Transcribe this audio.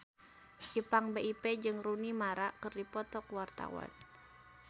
Ipank BIP jeung Rooney Mara keur dipoto ku wartawan